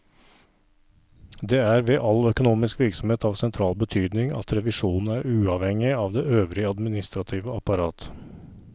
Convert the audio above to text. Det er ved all økonomisk virksomhet av sentral betydning at revisjonen er uavhengig av det øvrige administrative apparat.